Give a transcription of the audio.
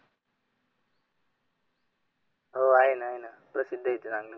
हो आहेना आहेना प्रती